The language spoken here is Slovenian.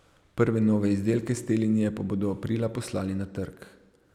Prve nove izdelke s te linije pa bodo aprila poslali na trg.